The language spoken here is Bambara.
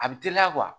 A bɛ teliya